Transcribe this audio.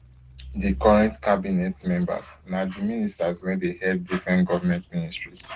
di current cabinet members na di ministers wey dey head different goment ministries